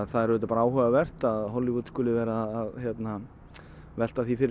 það er auðvitað bara áhugavert að Hollywood skuli vera að velta því fyrir